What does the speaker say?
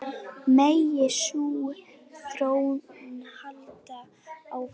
Megi sú þróun halda áfram.